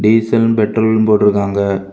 Diesel பெட்ரோல்னு போட்ருக்காங்க.